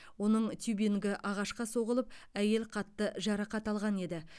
оның тюбингі ағашқа соғылып әйел қатты жарақат алған еді